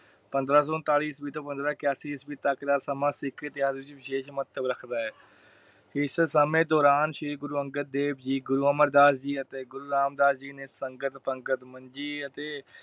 ਪੰਦਰਾਂ ਸੋ ਉਨਤਾਲੀ ਈਸਵੀ ਪੰਦਰਾਂ ਇੱਕਆਸੀ ਈਸਵੀ ਤਕ ਦਾ ਸਮਾਂ ਸਿੱਖ ਇਤਿਹਾਸ ਵਿਚ ਵਿਸ਼ੇਸ਼ ਮਹੱਤਵ ਰੱਖਦਾ ਹੈ। ਇਸ ਸਮੇ ਦੌਰਾਨ ਸ਼੍ਰੀ ਗੁਰੂ ਅੰਗਦ ਦੇਵ ਜੀ, ਗੁਰੂ ਅਮਰ ਦਾਸ ਜੀ ਅਤੇ ਗੁਰੂ ਰਾਮਦਾਸ ਜੀ ਨੇ ਸੰਗਤ ਪੰਗਤ ਮੰਜੀ ਅਤੇ